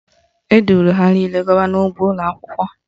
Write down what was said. Eduru ha niile gawa n'ugbo ụlọakwụkwọ